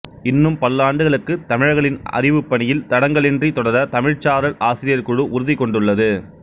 இன்னும் பல்லாண்டுகளுக்கு தமிழர்களின் அறிவுப்பணியில் தடங்கலின்றி தொடர தமிழ்ச்சாரல் ஆசிரியர் குழு உறுதி கொண்டுள்ளது